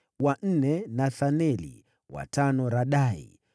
wa nne Nethaneli, wa tano Radai,